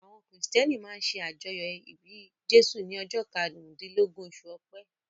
Àwọn Kìrìtẹ̀ẹ́nì máa ń ṣe àjọyọ̀ ìbí Jésù ní ọjọ́ karùndílógún, oṣù Ọpẹ́.